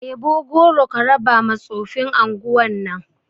Ɗebo goro ka raba ma tsofin anguwan nan